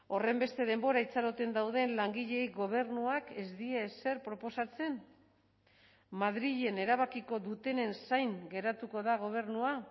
horrenbeste denbora itxaroten dauden langileei gobernuak ez die ezer proposatzen madrilen erabakiko dutenen zain geratuko da gobernua